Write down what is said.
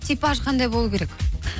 типаж қандай болу керек